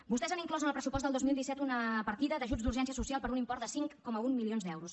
vostès han inclòs en el pressupost del dos mil disset una partida d’ajuts d’urgència social per un import de cinc coma un milions d’euros